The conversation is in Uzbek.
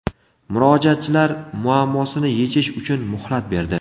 Murojaatchilar muammosini yechish uchun muhlat berdi.